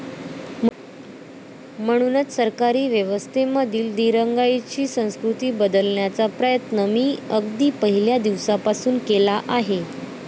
म्हणूनच सरकारी व्यवस्थेमधली दिरंगाईची संस्कृती बदलण्याचा प्रयत्न मी अगदी पहिल्या दिवसापासून केला आहे.